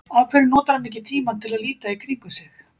Af hverju notar hann ekki tímann til að líta í kringum sig?